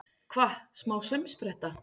Hvað, smá saumspretta!